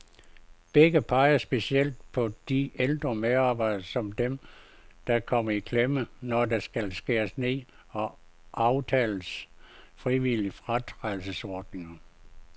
Begge peger specielt på de ældre medarbejdere, som dem, der kommer i klemme, når der skal skæres ned og aftales frivillige fratrædelsesordninger.